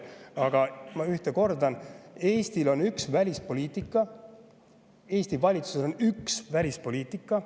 Aga ma kordan, et Eestil on üks välispoliitika, Eesti valitsusel on üks välispoliitika.